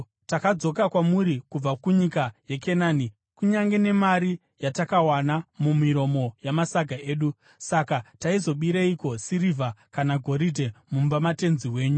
Takadzoka kwamuri kubva kunyika yeKenani kunyange nemari yatakawana mumiromo yamasaga edu. Saka taizobireiko sirivha kana goridhe mumba matenzi wenyu?